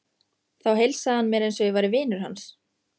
Þá heilsaði hann mér eins og ég væri vinur hans.